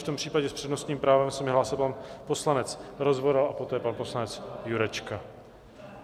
V tom případě s přednostním právem se mi hlásil pan poslanec Rozvoral a poté pan poslanec Jurečka.